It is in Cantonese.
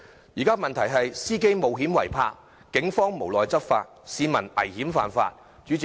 現時區內的問題可總結為：司機冒險違泊，警方無奈執法，市民危險犯法。